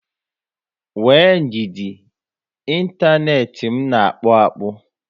Nwee ndidi, inteenti m na akpu akpụ